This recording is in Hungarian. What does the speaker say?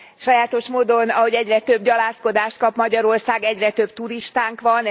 Sajátos módon, ahogy egyre több gyalázkodást kap Magyarország, egyre több turistánk van.